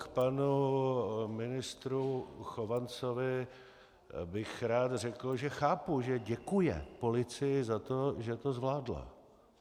K panu ministru Chovancovi bych rád řekl, že chápu, že děkuje policii za to, že to zvládla.